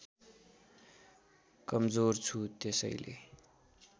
कमजोर छु त्यसैले